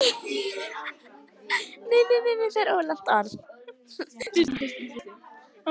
Ófært er á Breiðdalsheiði og Öxi